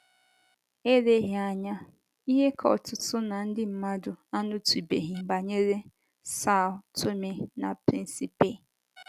ELEGHỊ anya, ihe ka ọtụtụ ná ndị mmadụ anụtụbeghị banyere São Tomé na Príncipe.